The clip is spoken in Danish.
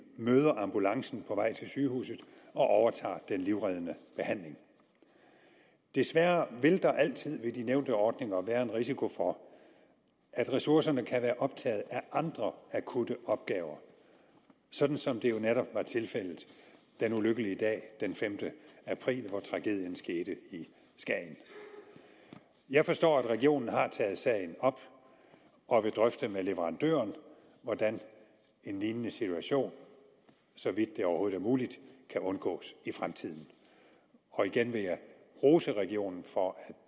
møder ambulancen på vej til sygehuset og overtager den livreddende behandling desværre vil der altid ved de nævnte ordninger være en risiko for at ressourcerne kan være optaget af andre akutte opgaver sådan som det jo netop var tilfældet den ulykkelig dag den femte april hvor tragedien skete i skagen jeg forstår at regionen har taget sagen op og vil drøfte med leverandøren hvordan en lignende situation så vidt det overhovedet er muligt kan undgås i fremtiden og igen vil jeg rose regionen for at